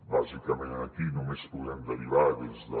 bàsicament aquí només podem derivar des de